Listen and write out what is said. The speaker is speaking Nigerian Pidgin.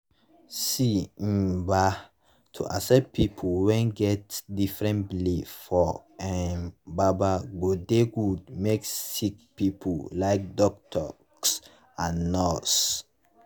see um bah to accept pple wen get different belief for um baba godey go make sicki pple like dockitos and nurse